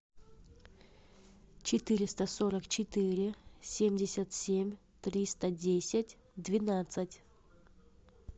четыреста сорок четыре семьдесят семь триста десять двенадцать